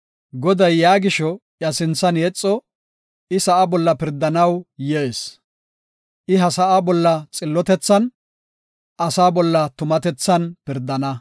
Goday yaa gisho iya sinthan yexo; I sa7a bolla pirdanaw yees. I ha sa7aa bolla xillotethan, asaa bolla tumatethan pirdana.